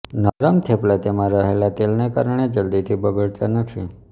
નરમ થેપલા તેમાં રહેલ તેલને કારણે જલ્દીથી બગડતા નથી